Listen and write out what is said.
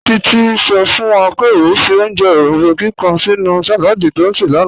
Títí sọ̀ fún wà pé ọ fì ojẹ́ orombó kíkan sínú saládì tí ọ ṣẹ̀ lánà